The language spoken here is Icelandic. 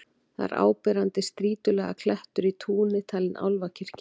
Þar er áberandi strýtulaga klettur í túni, talinn álfakirkja.